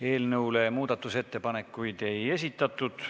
Eelnõu kohta muudatusettepanekuid ei esitatud.